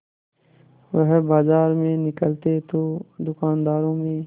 वह बाजार में निकलते तो दूकानदारों में